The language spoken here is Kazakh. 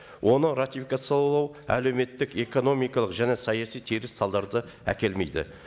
оны ратификациялау әлеуметтік экономикалық және саяси теріс салдарды әкелмейді